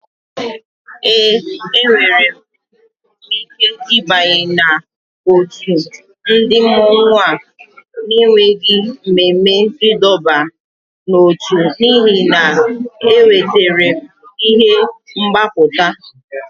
Ee, enwere m ike ịbanye n'òtù ndị mmọnwu a na-enweghị ememe ịdọba n'ótú n'ihi na m wetara ihe mgbapụta